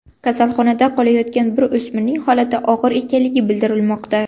Kasalxonada qolayotgan bir o‘smirning holati og‘ir ekanligi bildirilmoqda.